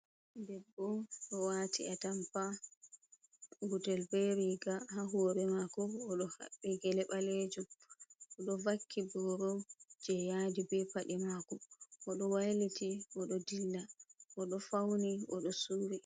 Debbo do waati atampa gudel be riga. Ha hore mako oɗo haɓɓi gele ɓalejum. Oɗo vakki boro je yadi be paɗe mako, oɗo wailiti, odo dilla, odo fauni, oɗo subi.